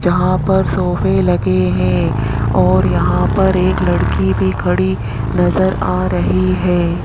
यहां पर सोफे लगे हैं और यहां पर एक लड़की भी खड़ी नजर आ रही है।